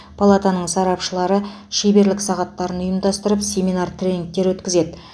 палатаның сарапшылары шеберлік сағаттарын ұйымдастырып семинар тренингтер өткізеді